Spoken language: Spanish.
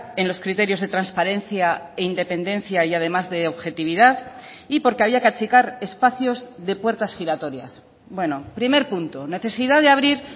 en los criterios de transparencia e independencia y además de objetividad y porque había que achicar espacios de puertas giratorias bueno primer punto necesidad de abrir